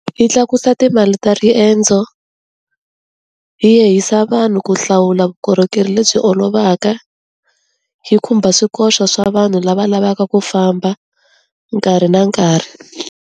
Yi tlakusa timali ta riendzo, yi yehisa vanhu ku hlawula vukorhokeri lebyi olovaka, yi khumba swikoxo swa vanhu lava lavaka ku famba nkarhi na nkarhi.